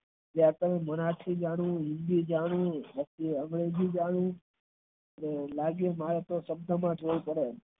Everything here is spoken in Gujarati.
ત્યાર થી મરાઠી જાણવું હિન્દી જાણવું english જાણવું લાગે મારે તો